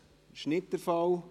– Dies ist nicht der Fall.